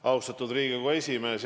Austatud Riigikogu esimees!